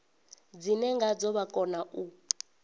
dzine ngadzo vha kona u